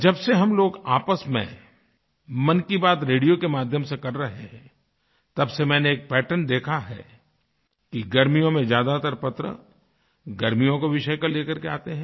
जब से हम लोग आपस में मन की बात रेडियो के माध्यम से कर रहे हैं तब से मैंने एक पैटर्न देखा है कि गर्मियों में ज्यादातर पत्रगर्मियों के विषय लेकर के आते हैं